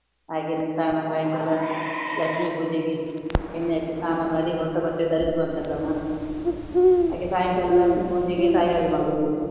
ಹಾಗೇನೆ ಸ್ನಾನ ಸಾಯಂಕಾಲ ಲಕ್ಷ್ಮಿ ಪೂಜೆಗೆ ಎಣ್ಣೆ ಹಚ್ಚಿ ಸ್ನಾನ ಮಾಡಿ ಹೊಸ ಬಟ್ಟೆ ಧರಿಸುವಂತ ಕ್ರಮ ಹಾಗೆ ಸಾಯಂಕಾಲ ಲಕ್ಷ್ಮಿ ಪೂಜೆಗೆ ತಯಾರಿ ಮಾಡುವುದು.